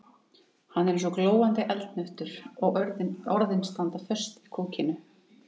Hann er eins og glóandi eldhnöttur og orðin standa föst í kokinu.